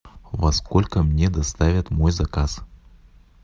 во сколько мне доставят мой заказ